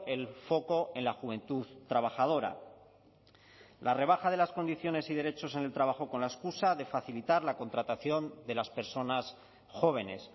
el foco en la juventud trabajadora la rebaja de las condiciones y derechos en el trabajo con la excusa de facilitar la contratación de las personas jóvenes